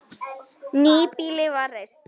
Nýbýli var reist.